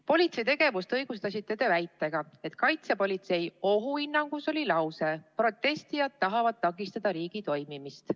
Politsei tegevust õigustasite te väitega, et Kaitsepolitseiameti ohuhinnangus oli lause: "Protestijad tahavad takistada riigi toimimist.